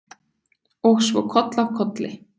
Og svo koll af kolli.